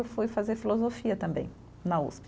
Eu fui fazer filosofia também na Usp.